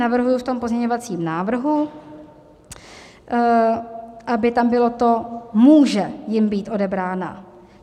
Navrhuji v tom pozměňovacím návrhu, aby tam bylo to "může jim být odebrána".